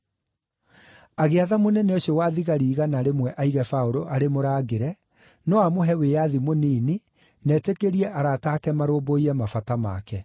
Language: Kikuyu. Agĩatha mũnene ũcio wa thigari igana rĩmwe aige Paũlũ arĩ mũrangĩre, no amũhe wĩyathi mũnini na etĩkĩrie arata aake marũmbũiye mabata make.